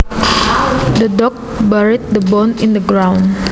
The dog buried the bone in the ground